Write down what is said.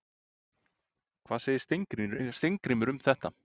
Hvað segir Steingrímur um það?